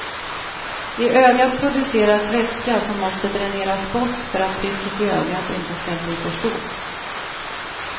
I ögat produceras vätska som måste dräneras bort för att trycket i ögat inte skall bli för stort.